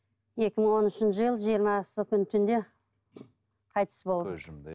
екі мың он үшінші жылы жиырмасы күні түнде қайтыс болды көз жұмды иә